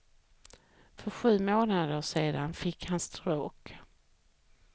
För sju månader sedan fick han stroke.